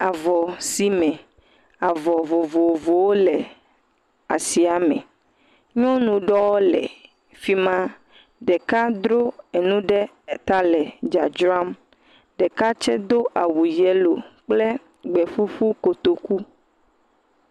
Avɔsime, avɔ vovovowo le asia me. Nyɔnu ɖewo le fi ma, ɖeka dro nu ɖe ta le dzradzram. Ɖeka tsɛ do awu yelo kple gbeƒuƒu kotoku.